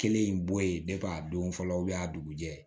Kelen in bɔ yen a don fɔlɔ a dugujɛ